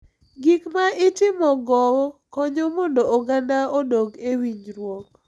Gik ma itimogo konyo mondo oganda odok e winjruok.